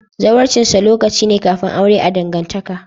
Zawarcinsa lokaci ne kafin aure a'dangantaka.